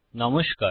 নমস্কার